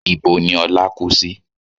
Ibo ni Ọlá kú sí?